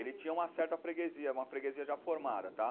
Ele tinha uma certa freguesia, uma freguesia já formada, tá?